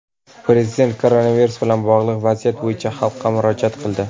Prezident koronavirus bilan bog‘liq vaziyat bo‘yicha xalqqa murojaat qildi.